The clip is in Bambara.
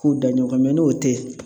K'u da ɲɔgɔn n'o te ye